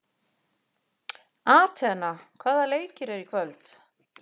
Atena, hvaða leikir eru í kvöld?